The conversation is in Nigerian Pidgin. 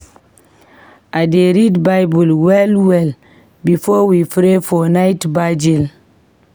We dey read Bible well-well before we pray for night virgil.